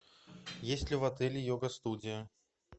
есть ли в отеле йога студия